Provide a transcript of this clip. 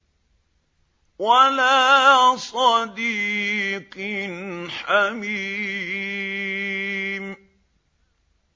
وَلَا صَدِيقٍ حَمِيمٍ